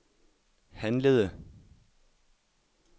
handlede